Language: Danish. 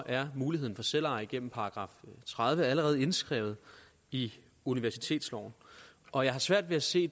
er muligheden for selveje gennem § tredive allerede indskrevet i universitetsloven og jeg har svært ved at se